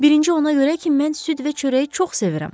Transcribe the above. Birinci ona görə ki, mən süd və çörəyi çox sevirəm.